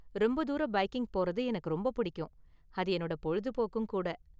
ரொம்ப தூரம் பைக்கிங் போறது எனக்கு ரொம்ப பிடிக்கும், அது என்னோட பொழுதுபோக்கும் கூட.